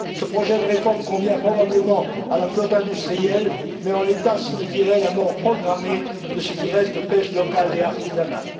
Ce projet de réforme convient probablement à la flotte industrielle mais, en l'état, signifierait la mort programmée de ce qui reste de la pêche locale et artisanale.